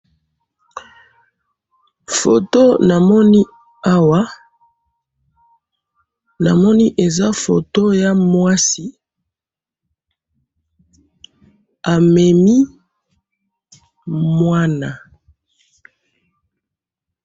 Foto namoni awa eza mwasi amemi mwana.